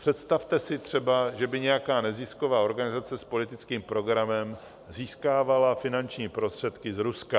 Představte si třeba, že by nějaká nezisková organizace s politickým programem získávala finanční prostředky z Ruska.